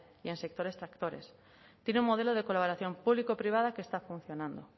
y en sectores tractores tiene un modelo de colaboración público privada que está funcionando